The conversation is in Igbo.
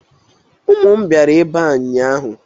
Ụmụ m bịara ebe a ụnyaahụ.